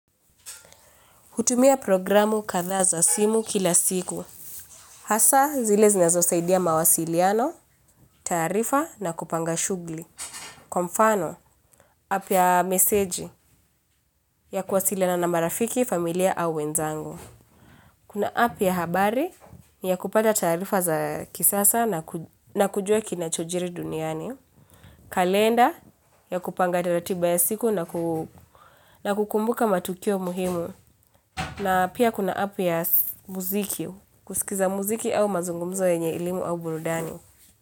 Hutumia programu kadhaa za simu kila siku. Hasa zile zinazosaidia mawasiliano, taarifa na kupanga shughuli. Kwa mfano, app ya meseji ya kuwasiliana na marafiki, familia au wenzangu. Kuna app ya habari, ni ya kupata taarifa za kisasa na kujua kinachojiri duniani. Kalenda ya kupanga ratiba ya siku na kukumbuka matukio muhimu. Na pia kuna app ya muziki, kusikiza muziki au mazungumzo yenye elimu au burudani.